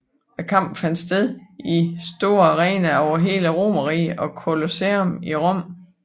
Kampene fandt sted i store arenaer over hele Romerriget som Colosseum i Rom